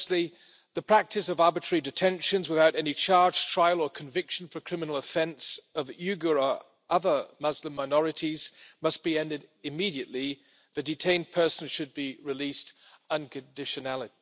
Firstly, the practice of arbitrary detentions without any charge, trial or conviction for a criminal offence of Uyghur or other Muslim minorities must be ended immediately and the detained persons should be released unconditionally.